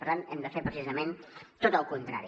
per tant hem de fer precisament tot el contrari